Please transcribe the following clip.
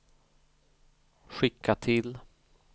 skicka till